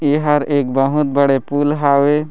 एहर एक बहुत बड़े पूल हावे--